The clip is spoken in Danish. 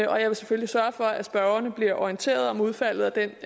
jeg vil selvfølgelig sørge for at spørgerne bliver orienteret om udfaldet af den